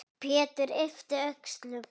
Pétur yppti öxlum.